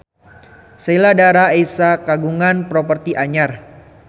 Sheila Dara Aisha kagungan properti anyar